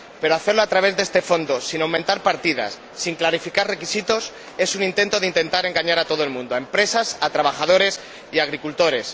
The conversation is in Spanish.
Pero hacerlo a través de este Fondo sin aumentar partidas, sin clarificar requisitos es un intento de engañar a todo el mundo, a empresas, a trabajadores y a agricultores.